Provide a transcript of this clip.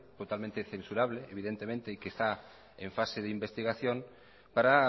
totalmente censurable evidentemente que está en fase de investigación para